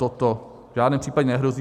Toto v žádném případě nehrozí.